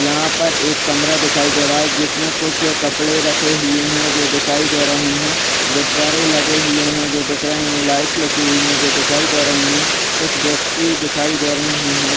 यहाँ पर एक कमरा दिखाई दे रहा है जिसमे कुछ कपड़े रखे हुए है जो दिखाई दे रहे है। गुब्बारे लगे हुए है जो दिख रहे है। लाइट कसी हुई है जो दिखाई दे रही है। कुछ व्यक्ति दिखाई दे रहे है।